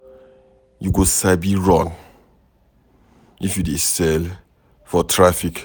You go sabi run if you dey sell for traffic.